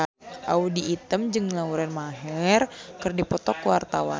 Audy Item jeung Lauren Maher keur dipoto ku wartawan